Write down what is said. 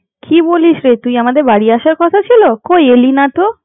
কি বলিস রে তুই আমাদের বাড়ি আসার কথা ছিল? কই এলি না তো?